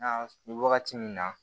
Nka wagati min na